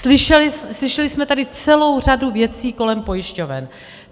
Slyšeli jsme tady celou řadu věcí kolem pojišťoven.